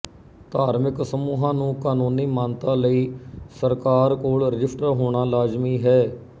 ਧਾਰਮਿਕ ਸਮੂਹਾਂ ਨੂੰ ਕਾਨੂੰਨੀ ਮਾਨਤਾ ਲਈ ਸਰਕਾਰ ਕੋਲ ਰਜਿਸਟਰ ਹੋਣਾ ਲਾਜ਼ਮੀ ਹੈ